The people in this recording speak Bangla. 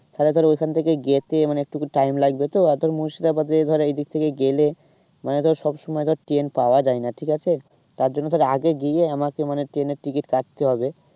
তাহলে ধর ওখান থেকে যেতে মানে একটুকু time লাগবে তো আর ধর মুর্শিদাবাদ দিয়ে ধর এইদিক থেকে গেলে মানে ধর সব সময় ধর ট্রেন পাওয়া যায় না ঠিক আছে। তার জন্য তোর আগে গিয়ে আমাকে মানে ট্রেনের ticket কাটতে হবে।